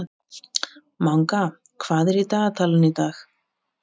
Skondið atvik átti sér stað í brasilísku bikarkeppninni í gærkvöldi.